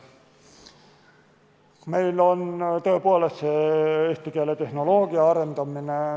Meil toimub tõepoolest eesti keeletehnoloogia arendamine.